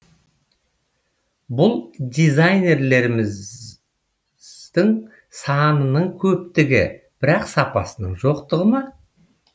бұл дизайнерлеріміздің санының көптігі бірақ сапасының жоқтығы ма